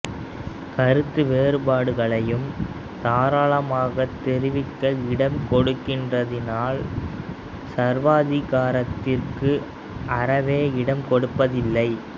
கருத்து வேறுபாடுகளையும் தாராளமாகத் தெரிவிக்க இடம் கொடுக்கிறதினால் சர்வாதிகாரத்திற்கு அறவே இடம் கொடுப்பதில்லை